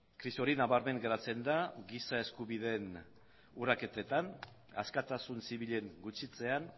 krisi hori nabarmen geratzen da giza eskubideen urraketetan askatasun zibilen gutxitzean